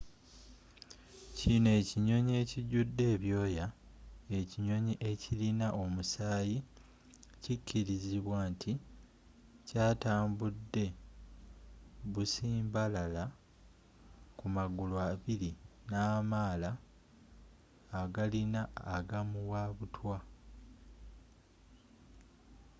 kino ekinyonyi ekijudde ebyooya ekinyonyi ekirina omusaayi kikirizibwa nti kyatambude busimbalaala ku magulu abiri namaala agalina agamuwabutwa